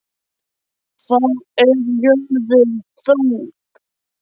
Hvað er jörðin þung?